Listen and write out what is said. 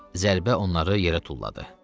Zərbə onları yerə tulladı.